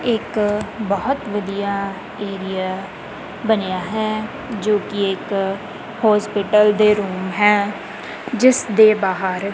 ਇੱਕ ਬਹੁਤ ਵਧੀਆ ਏਰੀਆ ਬਣਿਆ ਹੈ ਜੋ ਕਿ ਇੱਕ ਹੋਸਪਿਟਲ ਦੇ ਰੂਮ ਹੈ ਜਿਸ ਦੇ ਬਾਹਰ--